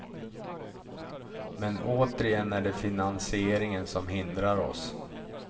Men återigen är det finansieringen som hindrar oss.